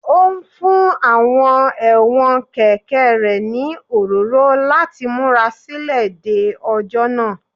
Ó ń fún àwọn ẹ̀wọ̀n kẹ̀kẹ́ rẹ̀ ní òróró láti múra sílẹ̀ de ọjọ́ náà